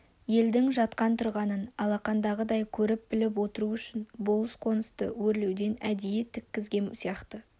елдің жатқан-тұрғанын алақандағыдай көріп-біліп отыру үшін болыс қонысты өрлеуден әдейі тіккізген сияқты